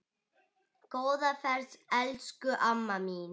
Góða ferð elsku amma mín.